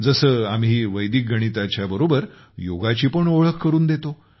जसे आम्ही वैदिक गणिताच्या सोबत योगाची पण ओळख करून देतो